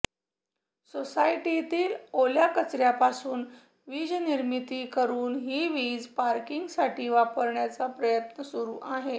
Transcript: सोसायटीतील ओल्या कचऱ्यापासून वीजनिर्मिती करून ही वीज पार्किंगसाठी वापरण्याचा प्रयत्न सुरू आहे